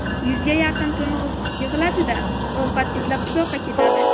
Yuzga yaqin to‘ng‘iz yig‘iladi-da, ovqat izlab uzoqqa ketadi.